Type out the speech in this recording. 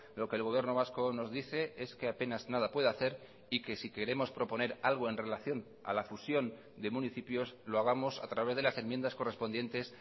lo que el gobierno vasco nos dice es que apenas nada puede hacer y que si queremos proponer algo en relación a la fusión de municipios lo hagamos a través de las enmiendas correspondientes